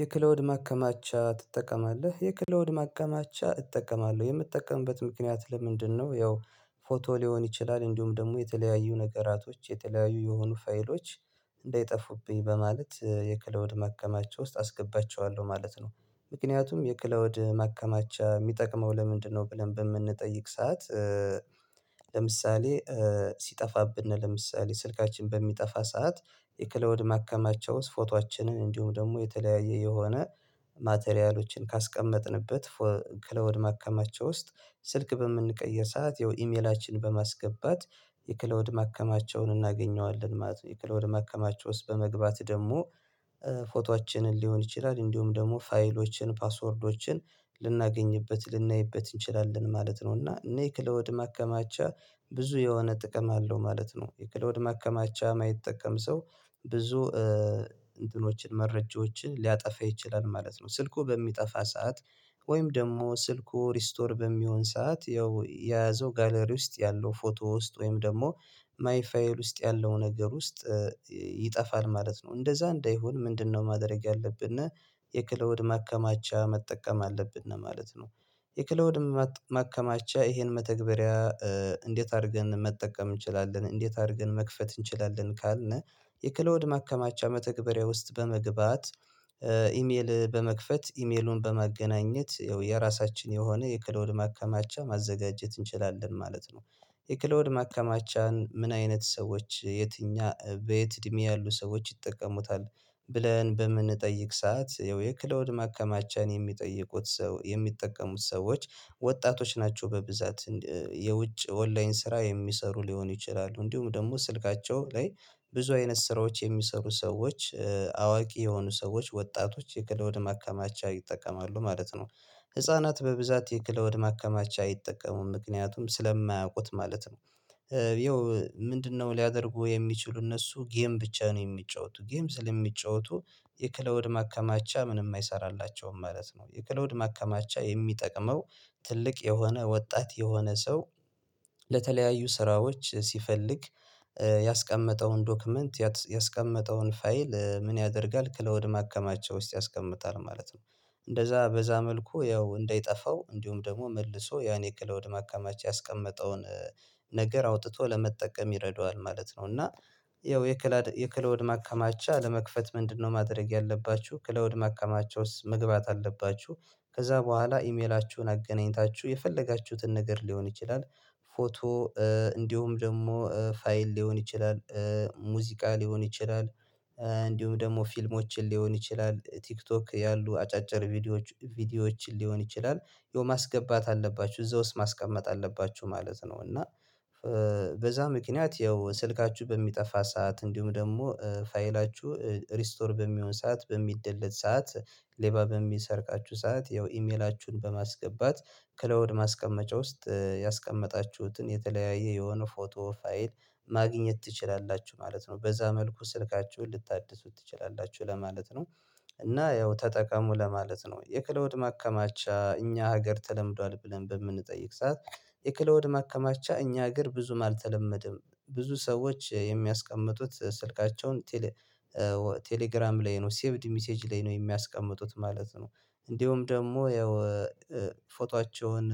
የክላውድ ማከማቻ ትጠቀማለህ የክላውድ ማከማቻ እጠቀማለሁ የምጠቀምበት ምክንያት ለምንድነው? ያው ፎቶ ሊሆን ይችላል እንዲሁም ደሞ የተለያዩ ነገራቶች የተለያዩ የሆኑ ፋይሎች እንዳይጠፉብኝ በማለት የክላውድ ማከማቻ ውስጥ አስገባቸዋለሁ ማለት ነው። ምክንያቱም የክላውድ ማከማቻ ሚጠቅመው ለምንድነው ብለን በምንጠይቅ ሰዓት? ለምሳሌ ሲጠፋብን ለምሳሌ ስልካችን በሚጠፋ ሰዓት የክላውድ ማከማቸው ፎቶአችንን እንዲሁም ደሞ የተለያየ የሆነ ማተሪያሎችን ካስቀመጥንበት ክላውድ ማከማቸው ውስጥ ስልክ በምንቀይር ሰዓት ያው ኢሜላችን በማስገባት የክላውድ ማከማቸውን እናገኘዋለን ማለት ነው። የክላውድ ማከማቸው ውስጥ በመግባት ደሞ ፎቶአችንን ሊሆን ይችላል እንዲሁም ደሞ ፋይሎችን ፓስወርዶችን ልናገኝበት ልናይበት እንችላለን ማለት ነው። እና እኔ ክላውድ ማከማቻ ብዙ የሆነ ጥቅም አለው ማለት ነው። የክላውድ ማከማቻ ማይጠቀም ሰው ብዙ እንትኖችን መረጃዎችን ሊያጠፋ ይችላል ማለት ነው። ስልኩ በሚጠፋ ሰዓት ወይም ደሞ ስልኩ ሪስቶር በሚሆን ሰዓት ያው የያዘው ጋለሪ ውስጥ ያለው ፎቶ ውስጥ ወይም ደሞ ማይ ፋይል ውስጥ ያለው ነገር ውስጥ ይጠፋል ማለት ነው። እንደዛ እንደሆን ምንድነው? ማድረግ ያለብነ የክላውድ ማከማቻ መጠቀም አለብን ነው ማለት ነው። የክላውድ ማከማቻ እሄን መተግበሪያ እንዴት አርገን መጠቀም እንችላለን? እንዴት አርገን መክፈት እንችላለን? ካልነ የክላውድ ማከማቻ መተግበሪያ ውስጥ በመግባት ኢሜል በመክፈት ኢሜሉን በማገናኘት የራሳችን የሆነ የክላውድ ማከማቻ ማዘጋጀት እንችላለን ማለት ነው። የክላውድ ማከማቻን ምን አይነት ሰዎች የትኛ በየት እድሜ ያሉ ሰዎች ይጠቀሙታል? ብለን በምንጠይቅ ሰዓት ያው የክላውድ ማከማቻን የሚጠይቁት ሰው የሚጠቀሙት ሰዎች ወጣቶች ናቸው በብዛት የውጭ ኦንላይን ስራ የሚሰሩ ሊሆኑ ይችላሉ እንዲሁም ደሞ ስልካቸው ላይ ብዙ አይነት ስራዎች የሚሰሩ ሰዎች አዋቂ የሆኑ ሰዎች ወጣቶች የክላውድን ማከማቻ ይጠቀማሉ ማለት ነው። ህፃናት በብዛት የክለወድ ማከማቻ አይጠቀሙም ምክንያቱም ስለማያውቁት ማለት ነው። ያው ምንድነው? ሊያደርጉ የሚችሉ እነሱ ጌም ብቻ ነው የሚጫወቱ ጌም ስለሚጫወቱ የክላወድ ማከማቻ ምንም አይሰራላቸውም ማለት ነው። የክላወድ ማከማቻ የሚጠቅመው ትልቅ የሆነ ወጣት የሆነ ሰው ለተለያዩ ስራዎች ሲፈልግ ያስቀመጠውን ዶክመንት ያስቀመጠውን ፋይል ምን ያደርጋል? ክላውድ ማከማቻ ውስጥ ያስቀምጣል ማለት ነው። እንደዛ በዛ መልኩ ያው እንዳይጠፋው እንዲሁም ደሞ መልሶ ያኔ ክላውድ ማካማቸው ያስቀመጠውን ነገር አውጥቶ ለመጠቀም ይረዳዋል ማለት ነው። እና ያው የክላውድ ማከማቻ ለመክፈት ምንድነው? ማድረግ ያለባችሁ ክላውድ ማከማቻ ውስጥ መግባት አለባችሁ ከዛ በኋላ ኢሜላችሁን አገናኝታችሁ የፈለጋችሁትን ነገር ሊሆን ይችላል ፎቶ እንዲሁም ደሞ ፋይል ሊሆን ይችላል ሙዚቃ ሊሆን ይችላል እንዲሁም ደሞ ፊልሞችን ሊሆን ይችላል ቲክቶክ ያሉ አጫጭር ቪዲዮዎች ቪዲዮዎችን ሊሆን ይችላል ያው ማስገባት አለባችሁ እዛ ውስጥ ማስቀመጥ አለባችሁ ማለት ነው። እና በዛ ምክንያት ያው ስልካችሁ በሚጠፋ ሰዓት እንዲሁም ደሞ ፋይላችሁ ሪስቶር በሚሆን ሰዓት በሚደለት ሰዓት ሌባ በሚሰርቃችሁ ሰዓት ያው ኢሜላችሁን በማስገባት ክላውድ ማስቀመጫ ውስጥ ያስቀመጣችሁትን የተለያየ የሆነ ፎቶ ፋይል ማግኘት ትችላላችሁ ማለት ነው። በዛ መልኩ ስልካችሁን ልታድሱት ትችላላችሁ ለማለት ነው። እና ያው ተጠቃሙ ለማለት ነው። የክላውድ ማከማቻ እኛ ሀገር ተለምዷል ብለን በምንጠይቅ ሰዓት? የክላውድ ማከማቻ እኛ ሀገር ብዙም አልተለመደም ብዙ ሰዎች የሚያስቀምጡት ስልካቸውን ቴሌግራም ላይ ነው ሴቭድ ሚሴጅ ላይ ነው ሚያስቀምጡት ማለት ነው። እንዲሁም ደሞ ያው ፎቶአቸውን